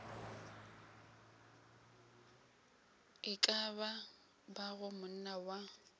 e ka bago monna wa